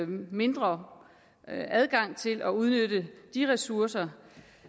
mindre adgang til at udnytte de ressourcer